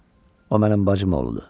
O mənim bacım oğludur.